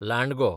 लांडगो